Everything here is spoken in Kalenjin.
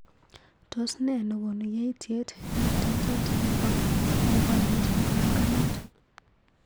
tos ne nekonu yaityet eng tetet nebo boiboyet nebanganat